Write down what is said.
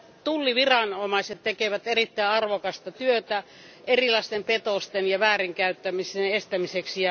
Tulliviranomaiset tekevät erittäin arvokasta työtä erilaisten petosten ja väärinkäytösten estämiseksi.